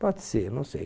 Pode ser, não sei.